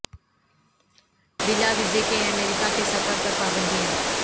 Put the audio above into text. بلا ویزے کے امریکہ کے سفر پر پابندیاں